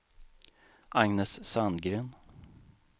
Agnes Sandgren